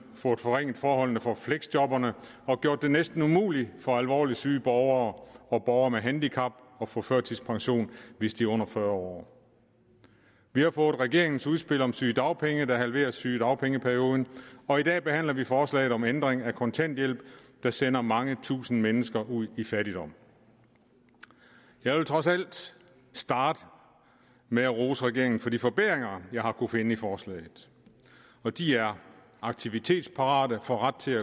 fået forringet forholdene for fleksjobberne og gjort det næsten umuligt for alvorligt syge borgere og borgere med handicap at få førtidspension hvis de er under fyrre år vi har fået regeringens udspil om sygedagpenge der halverer sygedagpengeperioden og i dag behandler vi forslaget om ændring af kontanthjælpen der sender mange tusind mennesker ud i fattigdom jeg vil trods alt starte med at rose regeringen for de forbedringer jeg har kunnet finde i forslaget og de er aktivitetsparate får ret til